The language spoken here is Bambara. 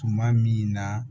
Tuma min na